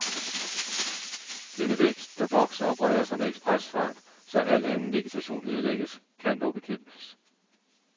Denne vækst, der vokser og breder sig med ekspresfart, så al anden vegetation ødelægges, kan dog bekæmpes.